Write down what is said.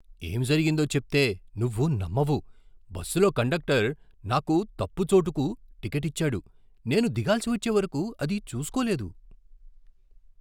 ఏం జరిగిందో చెప్తే నువ్వు నమ్మవు! బస్సులో కండక్టర్ నాకు తప్పు చోటుకు టికెట్ ఇచ్చాడు, నేను దిగాల్సి వచ్చే వరకు అది చూసుకోలేదు!